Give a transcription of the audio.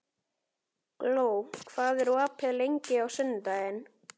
Gló, hvað er opið lengi á sunnudaginn?